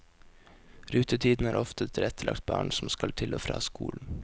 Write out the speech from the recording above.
Rutetidene er ofte tilrettelagt barn som skal til og fra skolen.